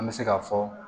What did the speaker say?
An bɛ se k'a fɔ